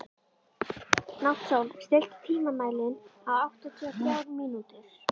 Náttsól, stilltu tímamælinn á áttatíu og þrjár mínútur.